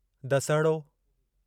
दसिहड़ो